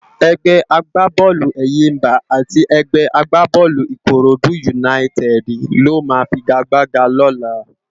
Ègbè àgbábólú Éyimbá ati ègbè àgbábólú Ikóródú Únáyitèdi ló má figágbágá lólá